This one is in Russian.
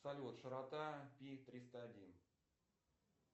салют широта пи триста один